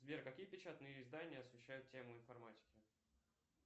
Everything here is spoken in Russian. сбер какие печатные издания освещают тему информатики